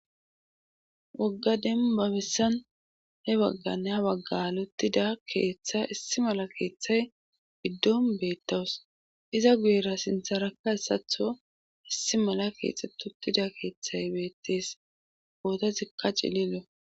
wogga denbabissan he bagganne ha waggalutida keeththa issi mala keeththay giddon beettawus iza guyera sintharakka asatho issi mala kiexututida keeththay beettees gootazikka cililo